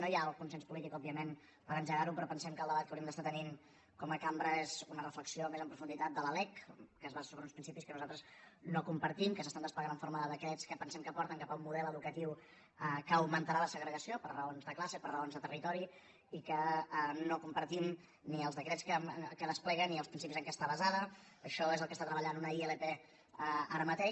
no ja el consens polític òbviament per engegarho però pensem que el debat que hauríem d’estar tenint com a cambra és una reflexió més en profunditat de la lec que es basa en uns principis que nosaltres no compartim que s’estan desplegant en forma de decrets que pensem que porten cap a un model educatiu que augmentarà la segregació per raons de classe per raons de territori i no compartim ni els decrets que desplega ni els principis en què està basada això és el que està treballant una ilp ara mateix